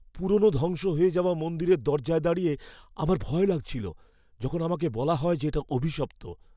পুরনো ধ্বংস হয়ে যাওয়া মন্দিরের দরজায় দাঁড়িয়ে আমার ভয় লাগছিল যখন আমাকে বলা হয় যে এটা অভিশপ্ত।